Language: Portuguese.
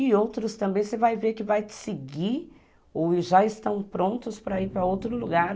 E outros também você vai ver que vai te seguir ou já estão prontos para ir para outro lugar.